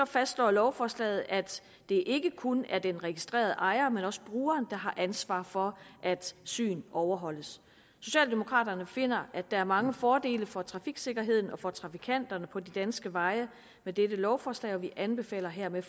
fastslår lovforslaget at det ikke kun er den registrerede ejer men også brugeren der har ansvar for at syn overholdes socialdemokraterne finder at der er mange fordele for trafiksikkerheden og for trafikanterne på de danske veje med dette lovforslag og vi anbefaler hermed